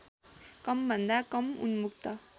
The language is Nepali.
कमभन्दा कम उन्मुक्त